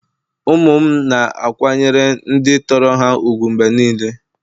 Ụmụ m na-akwanyere ndị tọrọ ha ùgwù mgbe niile.